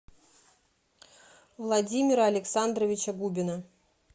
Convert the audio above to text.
владимира александровича губина